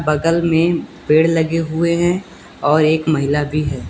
बगल में पेड़ लगे हुए हैं और एक महिला भी है।